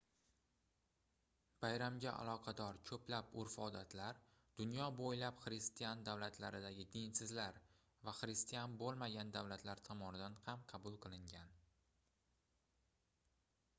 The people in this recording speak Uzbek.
bayramga aloqador koʻplab urf-odatlar dunyo boʻylab xristian davlatlardagi dinsizlar va xristian boʻlmagan davlatlar tomonidan ham qabul qilingan